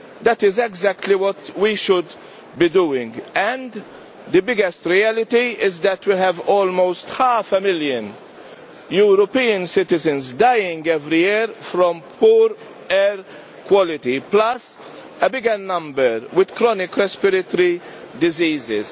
That is exactly what we should be doing and the biggest reality is that we have almost half a million European citizens dying every year from poor air quality, plus a bigger number with chronic respiratory diseases.